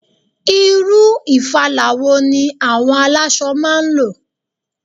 Irú ìfala wo ni àwọn aláṣọ máa ń lò?